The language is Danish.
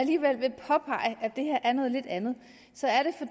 alligevel vil påpege at det her er noget lidt andet